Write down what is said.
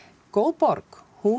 góð borg hún